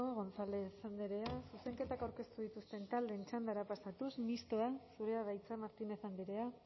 gonzález andrea zuzenketak aurkeztu dituzten taldeen txandara pasatuz mistoa zurea da hitza martínez andrea